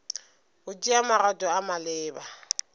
go tšea magato a maleba